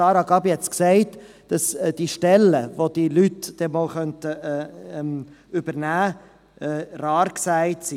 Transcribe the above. Sarah Gabi Schönenberger hat gesagt, dass die Stellen, welche diese Leute irgendwann übernehmen könnten, rar seien.